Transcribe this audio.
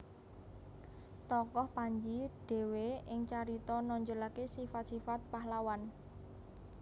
Tokoh Panji dhewe ing carita nonjolaké sifat sifat pahlawan